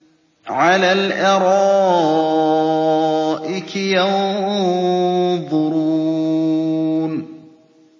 عَلَى الْأَرَائِكِ يَنظُرُونَ